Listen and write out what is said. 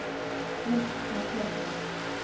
list markerte